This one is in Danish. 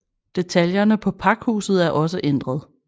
Detaljerne på pakhuset er også ændret